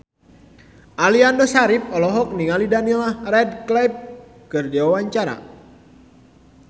Aliando Syarif olohok ningali Daniel Radcliffe keur diwawancara